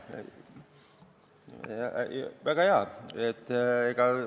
Väga hea!